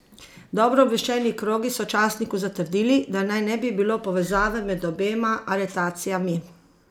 Dobro obveščeni krogi so časniku zatrdili, da naj ne bi bilo povezave med obema aretacijami.